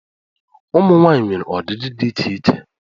Ụmụ nwanyị nwere ọdịdị dị iche iche.